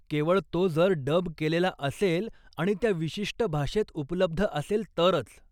केवळ तो जर डब केलेला असेल आणि त्या विशिष्ट भाषेत उपलब्ध असेल तरच.